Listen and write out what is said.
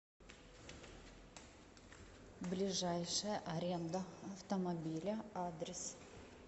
ближайшая аренда автомобиля адрес